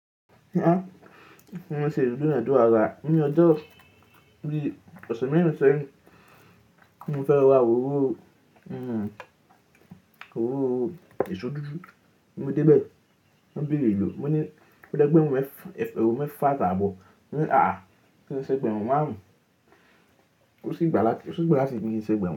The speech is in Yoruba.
Mo ṣe ètò idunádurà daadaa. Ní ọjọ́ bíi ọ̀se mẹ́rin, seyin ti mo fẹ́ ra ororo, èṣó dúdú. Mo dé bẹ̀, wọ́n bẹ̀rẹ̀ elò. Mo ní egbérun mef--egberun mẹ́fà atàábọ̀. Wọ́n ní kin ṣan egberun máàrun Ó sì gbá láti, ó sì gbá láti kí n ṣan egberun.